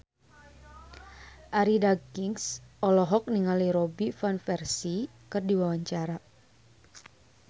Arie Daginks olohok ningali Robin Van Persie keur diwawancara